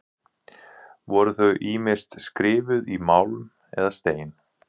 Voru þau ýmist skrifuð í málm eða stein.